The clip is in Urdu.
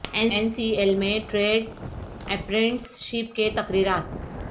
این سی ایل میں ٹریڈ اپرنٹس شپ کے تقررات